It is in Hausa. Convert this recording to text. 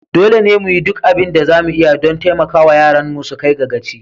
Dole ne mu yi duk abin da za mu iya don taimaka wa yaranmu su kai ga gaci.